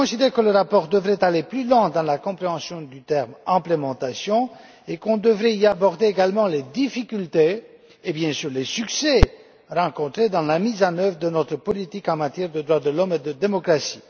Je considère que le rapport devrait aller plus loin dans la compréhension des termes mise en œuvre et qu'on devrait y aborder également les difficultés et, bien sûr, les succès rencontrés dans la mise en œuvre de notre politique en matière de droits de l'homme et de démocratie.